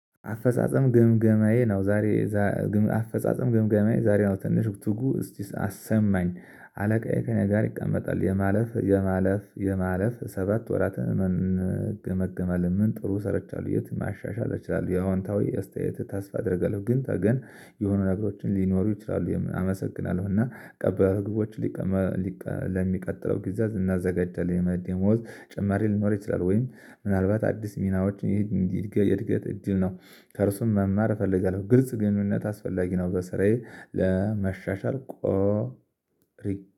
አፈጻጸም ግምገማዬ ነው። ዛሬ አፈጻጸም ግምገማዬ ዛሬ ነው። ትንሽ ትጉ እስቲ አሰማኝ አለቃዬ ከእኔ ጋር ይቀመጣል የማለፍ የማለፍ የማለፍ ሰባት ወራትን እንገመገመለን። ምን ጥሩ ሰርቻለሁ የት ማሻሻል እችላለሁ። የአዎንታዊ አስተያየት ተስፋ አደርጋለሁ። ግን ተገን የሆነ ነገሮችን ሊኖሩ ይችላሉ። አመሰግናለሁ እና ቀበል ህዝቦችች ለሚቀጥለው ጊዜ እናዘጋጃለን። የመደሞዝ ጭምሪ ሊኖር ይችላል። ወይም ምናልባት አዲስ ሚናዎች ይሄ እድገት እጅግ ነው። ከእርሱም መማር እፈልጋለሁ። ግርጽ ግንኙነት አስፈላጊ ነው። በስራዬ ለመሻሻል።